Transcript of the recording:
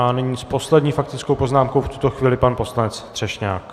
A nyní s poslední faktickou poznámkou v tuto chvíli pan poslanec Třešňák.